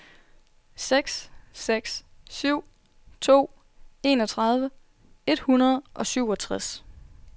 seks seks syv to enogtredive et hundrede og syvogtres